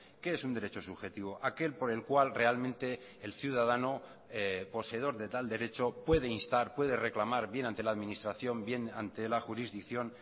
qué es un derecho subjetivo aquel por el cual realmente el ciudadano poseedor de tal derecho puede instar puede reclamar bien ante la administración bien ante la jurisdicción